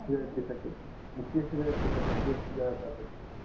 साठी actually हे सगळं याच्यासाठी केस गळतात त्यासाठी